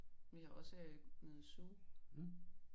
Vi har også øh nede i zoo